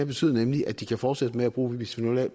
betydet at de kan fortsætte med at bruge bisfenol a